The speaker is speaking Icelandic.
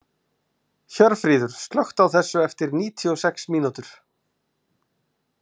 Hjörfríður, slökktu á þessu eftir níutíu og sex mínútur.